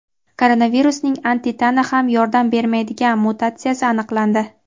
Koronavirusning antitana ham yordam bermaydigan mutatsiyasi aniqlandi.